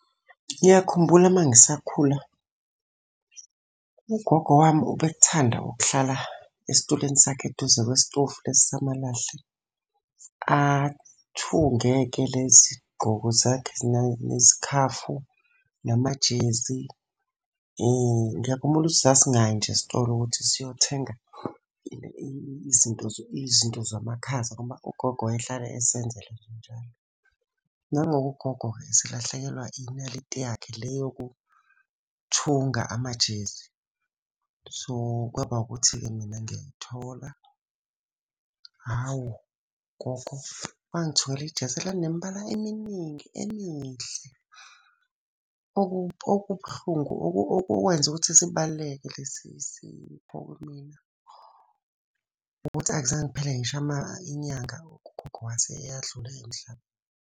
Ngiyakhumbula uma ngisakhula. Ugogo wami ubekuthanda ukuhlala esitulweni sakhe eduze kwesitofu lesi samalahle. Athunge-ke lezi gqoko zakhe, nezikhafu, namajezi. Hho, ngiyakhumbula ukuthi sasingayi nje esitolo ukuthi siyothenga izinto izinto zamakhaza ngoba ugogo wayehlala esenzela njalo. Nango-ke ugogo-ke eselahlekelwa inaliti yakhe le yokuthunga amajezi. So, kwaba ukuthi-ke mina ngiyayithola, hhawu gogo, wangithungela ijezi elalinemibala eminingi emihle. Okubuhlungu okwenza ukuthi sibaluleke lesi sipho kumina ukuthi akuzange kuphele ngisho inyanga ugogo wase eyadlula emhlabeni.